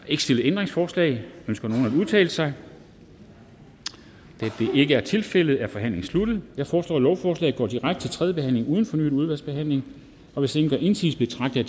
ikke stillet ændringsforslag ønsker nogen at udtale sig da det ikke er tilfældet er forhandlingen sluttet jeg foreslår at lovforslaget går direkte til tredje behandling uden fornyet udvalgsbehandling hvis ingen gør indsigelse betragter